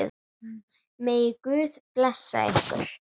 Megi Guð blessa ykkur.